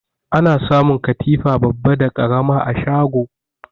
Ana samun katifa babba da ƙarama a shago.